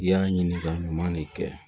I y'a ɲininka ɲuman ne kɛ